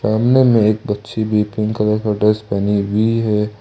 सामने मे एक बच्ची भी पिंक कलर का ड्रेस पहनी हुई है।